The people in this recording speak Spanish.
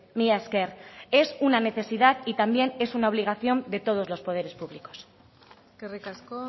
mila esker es una necesidad y también es una obligación de todos los poderes públicos eskerrik asko